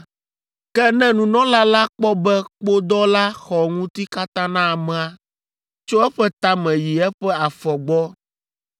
“Ke ne nunɔla la kpɔ be kpodɔ la xɔ ŋuti katã na amea, tso eƒe tame yi eƒe afɔ gbɔ,